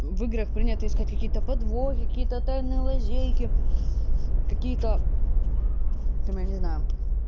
в играх принято искать какие-то подвохи какие-то тайные лазейки какие-то там я не знаю